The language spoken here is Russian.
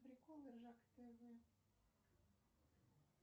приколы ржака тв